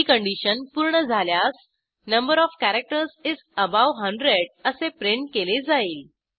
ही condition पूर्ण झाल्यास number of characters is above hundredअसे प्रिंट केले जाईल